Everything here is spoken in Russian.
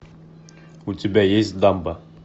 у тебя есть дамба